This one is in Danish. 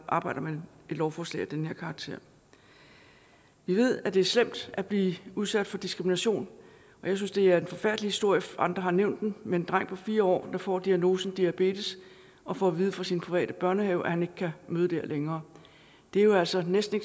arbejder med et lovforslag af den her karakter vi ved at det er slemt at blive udsat for diskrimination og jeg synes det er en forfærdelig historie andre har nævnt den med en dreng på fire år der får diagnosen diabetes og får at vide fra sin private børnehave at han ikke kan møde der længere det er jo altså næsten